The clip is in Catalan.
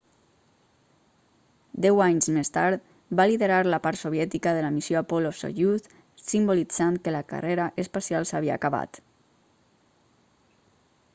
deu anys més tard va liderar la part soviètica de la missió apollo-soyuz simbolitzant que la carrera espacial s'havia acabat